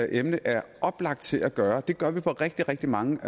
emne er oplagt til at gøre det gør vi på rigtig rigtig mange